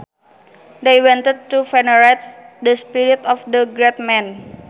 They wanted to venerate the spirit of the great man